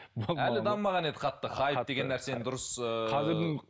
әлі дамымаған еді қатты хайп деген нәрсені дұрыс ыыы